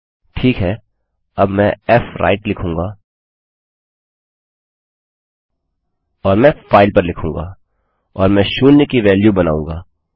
ठीक हैअब मैं फ्व्राइट लिखूँगा और मैं फाइल पर लिखूँगा और मैं शून्य की वेल्यू बनाऊँगा